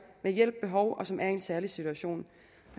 har hjælp behov og som er i en særlig situation